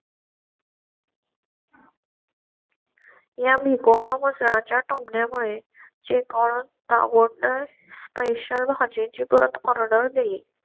च्या टोमण्यामुळे चे कोणता गोड पैशा भाज्यांची परत order दिली.